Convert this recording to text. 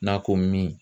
N'a ko min